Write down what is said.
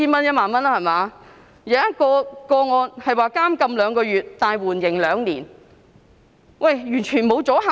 有一宗個案，刑罰是監禁兩個月但緩刑兩年，完全沒有阻嚇力。